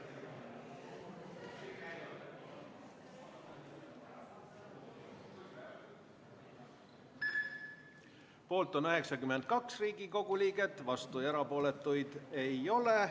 Hääletustulemused Poolt on 92 Riigikogu liiget, vastuolijaid ja erapooletuid ei ole.